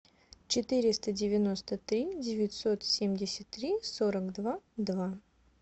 четыреста девяносто три девятьсот семьдесят три сорок два два